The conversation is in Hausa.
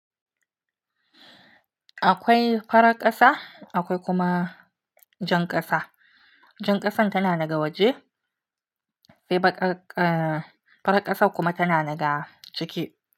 Akwai farar ƙasa akwai kuma jan ƙasa. Jan ƙasan tana daga waje sai baƙar, eh farar ƙasar kuma tana daga ciki.